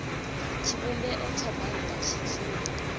tshivhumbeo tsha bannga tshi dzule